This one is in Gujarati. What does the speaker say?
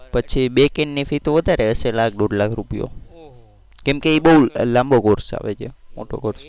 પછી back end ની fee તો વધારે હશે લાખ દોઢ લાખ રૂપિયા. કેમ કે એ બહુ લાંબો course આવે છે મોટો course.